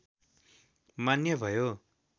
मान्य भयो